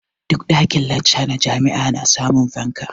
Duk ɗakin-lacca na jami'a ana samun fanka.